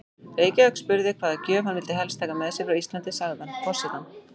Reykjavík spurði hvaða gjöf hann vildi helst taka með sér frá Íslandi, sagði hann: Forsetann